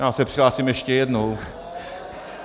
Já se přihlásím ještě jednou.